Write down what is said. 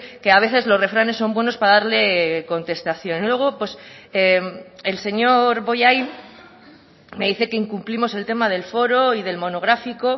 que a veces los refranes son buenos para darle contestación luego el señor bollain me dice que incumplimos el tema del foro y del monográfico